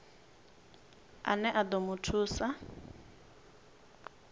ane a ḓo mu thusa